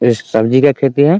ये सब्जी का खेती है ।